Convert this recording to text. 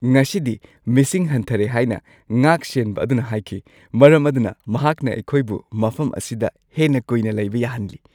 ꯉꯁꯤꯗꯤ ꯃꯤꯁꯤꯡ ꯍꯟꯊꯔꯦ ꯍꯥꯏꯅ ꯉꯥꯛꯁꯦꯟꯕ ꯑꯗꯨꯅ ꯍꯥꯏꯈꯤ꯫ ꯃꯔꯝ ꯑꯗꯨꯅ ꯃꯍꯥꯛꯅ ꯑꯩꯈꯣꯏꯕꯨ ꯃꯐꯝ ꯑꯁꯤꯗ ꯍꯦꯟꯅ ꯀꯨꯏꯅ ꯂꯩꯕ ꯌꯥꯍꯟꯂꯤ꯫